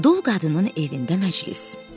Dul qadının evində məclis.